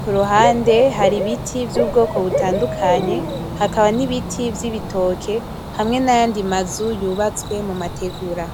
kuruhande hari ibiti vy'ubwoko butandukanye hakaba n'ibiti vy'ibitoke, hamwe nayandi mazu yubatswe mu mategura.